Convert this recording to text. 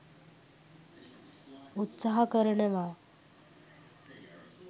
උත්සාහ කරනවා.